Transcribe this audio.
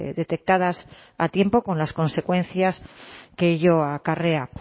detectadas a tiempo con las consecuencias que ello acarrea